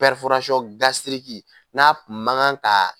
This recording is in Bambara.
pɛriforasɔn gasiriki n'a kun mankan ka